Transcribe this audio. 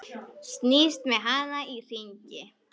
Snýst með hann í hringi.